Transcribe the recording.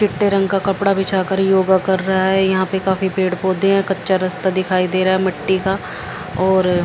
चिट्टे रंग का कपड़ा बिछाकर योगा कर रहा है यहां पे काफी पेड़ पौधे हैं कच्चा रस्ता दिखाई दे रहा है मिट्टी का और--